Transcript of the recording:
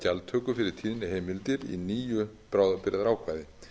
gjaldtöku fyrir tíðniheimildir í nýju bráðabirgðaákvæði